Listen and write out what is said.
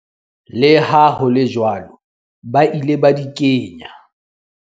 Le ha hole jwalo ba ile ba di kenya.